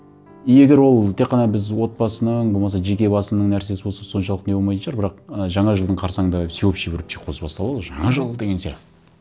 и егер ол тек қана біз отбасының болмаса жеке басыңның нәрсесі болса соншалықты не болмайтын шығар бірақ ы жаңа жылдың қарсанында всеобщий бір психоз басталады ғой жаңа жыл деген сияқты